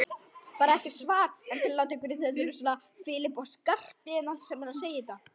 Bara er ekkert svar.